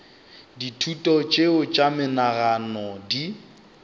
dithuto tšeo tša menagano di